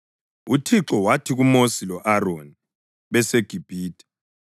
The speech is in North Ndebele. UThixo wathi kuMosi lo-Aroni beseGibhithe,